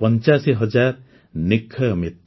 ୮୫ ହଜାର ନିକ୍ଷୟ ମିତ୍ର